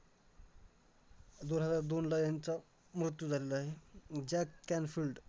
तर मी त्या गोष्टी बद्दल तुम्हाला समजावतो एखाद्यावेळी माझ्या